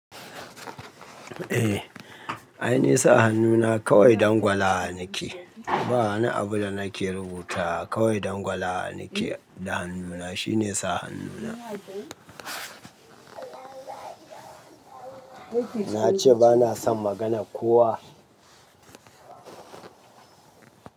Eh, ai nisa hannuna kawai dangwala nake. Ba wani abu da nake rubuta, kawai dangwala nake da hannuna shine sa hannuna. Na ce bana son magana kowa.